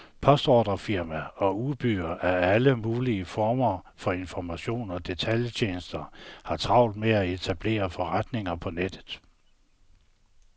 Postordrefirmaer og udbydere af alle mulige former for informationer og datatjenester har travlt med at etablere forretninger på nettet.